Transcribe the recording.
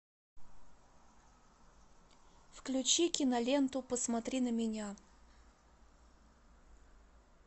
включи киноленту посмотри на меня